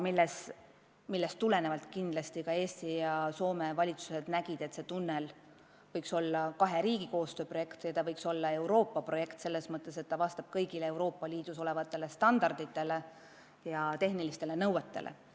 Sellest tulenevalt leidsid Eesti ja Soome valitsus, et see tunnel võiks olla kahe riigi koostöö projekt ja ka Euroopa Liidu projekt – selles mõttes, et rajatis vastaks kõigile Euroopa Liidus kehtivatele tehnilistele nõuetele ja muudele standarditele.